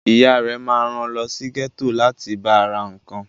Ìyá rẹ ma ran lọ sí gẹ́tò láti ba ra nǹkan